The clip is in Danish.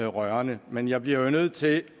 rørende men jeg bliver jo nødt til